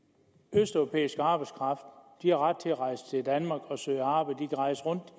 østeuropæisk arbejdskraft har ret til at rejse til danmark og søge arbejde rejse rundt